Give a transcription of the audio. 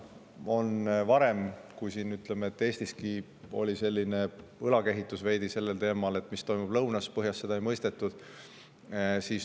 Varem, ütleme, kehitati Eestiski sellel teemal veidi õlgu, et mis toimub lõunas, põhjas seda ei mõistetud.